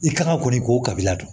I kan ka kɔni k'o kabila don